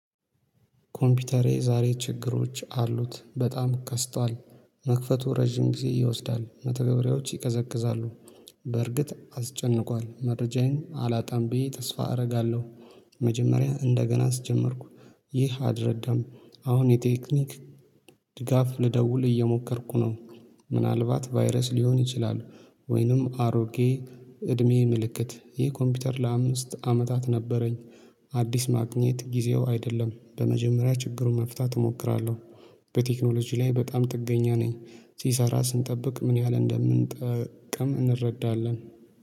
ኮምፒውተሬ ዛሬ ችግሮች አሉት በጣም ቀስቷል መክፈቱ ረዥም ጊዜ ይወስዳል መተገብሪያዎች ይቀዘቅዛሉ። በርግጥ አስጨንቋል መረጃዬን አላጣም ብዬ ተስፋ አደርጋለሁ። መጀመሪያ እንደገና አስጀመርኩ። ይህ አልረዳም። አሁን የቴክኒክ ድጋፍ ልደውል እየሞከርኩ ነው። ምንአልባት ቫይረስ ሊሆን ይችላል። ወይንም አሮጌ እድሜ ምልክት ይህ ኮምፒውተር ለአምስት አመታት ነበረኝ። አዲስ ማግኘት ጊዜው አይደለም በመጀመሪያ ችግሩን መፍታት እሞክራለሁ። በቴክኖሎጂ ላይ በጣም ጥገኛ ነኝ። ሲሰራ ስንጠብቅ ምን ያህል እንደምንጠቀም እንረዳለን